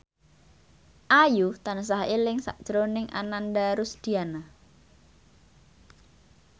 Ayu tansah eling sakjroning Ananda Rusdiana